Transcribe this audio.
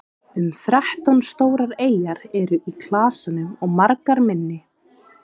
um þrettán stórar eyjar eru í klasanum og margar minni